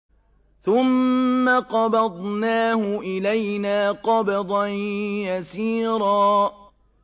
ثُمَّ قَبَضْنَاهُ إِلَيْنَا قَبْضًا يَسِيرًا